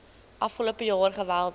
afgelope jaar geweldig